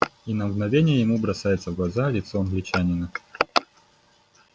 и на мгновение ему бросается в глаза лицо англичанина